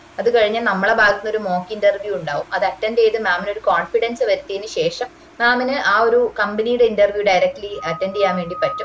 അത് കഴിഞ്ഞ നമ്മള ഭാഗത്തിന്ന് ഒരു mock interview ഉണ്ടാവും അത് attend ചെയ്ത് mam ന് ഒര് confidence വരുത്തിയതിന് ശേഷം mam ന് ആ ഒരു company ടെ interview directely attend ചെയ്യാൻ വേണ്ടി പറ്റും